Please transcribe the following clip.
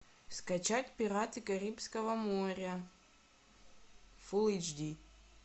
скачать пираты карибского моря фулл эйч ди